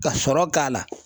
Ka sɔrɔ k'a la.